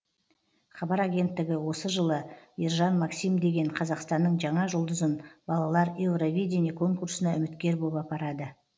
хабар агенттігі осы жылы ержан максим деген қазақстанның жаңа жұлдызын балалар евровидение конкурсына үміткер боп апарады